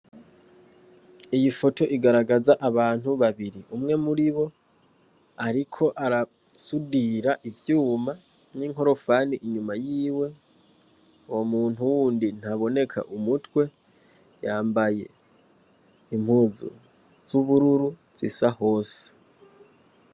Iyo foto igaragaza abantu babiri, umwe muribo ariko arasudira ivyuma n'inkorofani inyuma yiwe, uwo muntu wundi ntaboneka umutwe yambaye impuzu zubururu zisa hose.